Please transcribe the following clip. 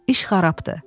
iş xarabdır.